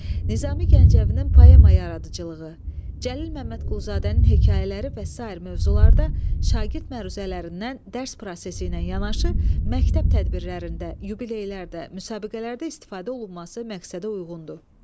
Nizami Gəncəvinin poema yaradıcılığı, Cəlil Məmmədqulzadənin hekayələri və sair mövzularda şagird məruzələrindən dərs prosesi ilə yanaşı məktəb tədbirlərində, yubileylərdə, müsabiqələrdə istifadə olunması məqsədə uyğundur.